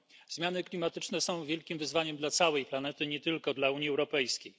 Zmiany klimatyczne są wielkim wyzwaniem dla całej planety, nie tylko dla Unii Europejskiej.